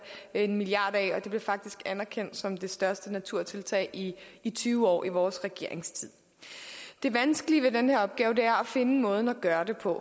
en milliard kroner og det blev faktisk anerkendt som det største naturtiltag i tyve år i vores regeringstid det vanskelige ved den her opgave er at finde måden at gøre det på